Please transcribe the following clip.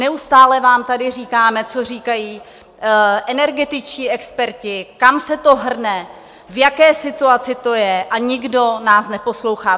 Neustále vám tady říkáme, co říkají energetičtí experti, kam se to hrne, v jaké situaci to je, a nikdo nás neposlouchá.